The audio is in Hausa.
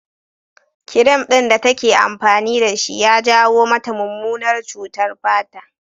Kirim ɗin da take amfani da shi ya jawo mata mummunar cutar fata